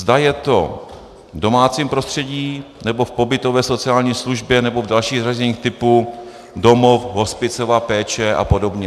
Zda je to v domácím prostředí, nebo v pobytové sociální službě, nebo v dalších zařízeních typu domov, hospicová péče a podobně.